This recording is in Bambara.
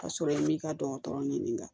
Ka sɔrɔ i m'i ka dɔgɔtɔrɔ ɲininka